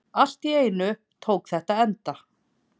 Allt í einu tók þetta enda.